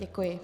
Děkuji.